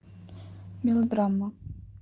мелодрама